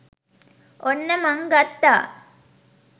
ඔන්න මං ගත්තා